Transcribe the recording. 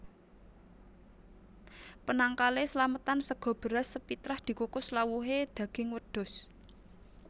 Penangkal é slametan sega beras sepitrah dikukus lawuhé daging wedhus